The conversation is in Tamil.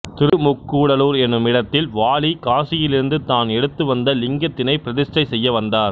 திருமுக்கூடலூர் எனுமிடத்தில் வாலி காசியிலிருந்து தான் எடுத்துவந்த லிங்கத்தினை பிரதிஸ்டை செய்ய வந்தார்